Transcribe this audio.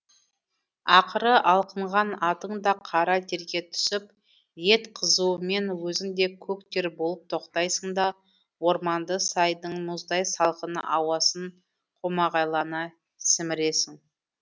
ақыры алқынған атың да қара терге түсіп ет қызуымен өзің де көк тер болып тоқтайсың да орманды сайдың мұздай салқын ауасын қомағайлана сіміресің